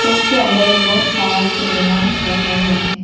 उनके अंदर बहोत सारा खिलौना रखा हुआ है।